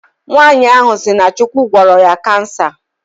Nwaanyi ahụ si na Chukwu gwọrọ ya cancer